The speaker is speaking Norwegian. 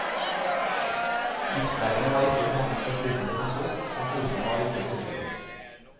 Gipsveggene var ikke behandlet før flisene ble satt opp, og flisene var ikke fuget.